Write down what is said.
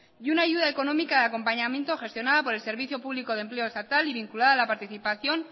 y una ayuda económica de acompañamiento gestionada por el servicio público de empleo estatal y vinculada a la participación